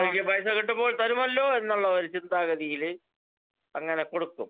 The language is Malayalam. സ്പീക്കർ 2 കാരണം അവര്ക്ക് പൈസ കിട്ടുമ്പോ തരുമല്ലോ എന്നുള്ള ഒരു ചിന്താഗതിയില് അങ്ങനെ കൊടുക്കും